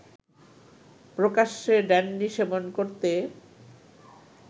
প্রকাশ্যে ড্যান্ডি সেবন করতে